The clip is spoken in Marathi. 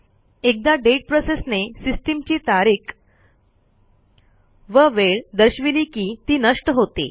एकदा दाते प्रोसेसने सिस्टीमची तारीख व वेळ दर्शविली की ती नष्ट होते